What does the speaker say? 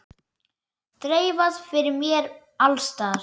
Þreifað fyrir mér alls staðar.